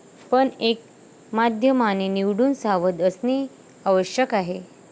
पण एक माध्यमाने निवडून सावध असणे आवश्यक आहे.